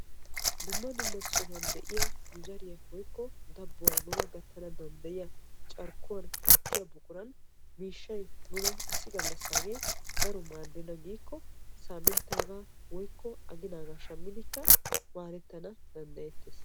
Dumma dumma sohuwa de'iya nu zariyara gattiyaga miishshay issi galassage nuna maadenna giikko saminttaga woykko aginaaga shamiddi maaddettana danddayetees.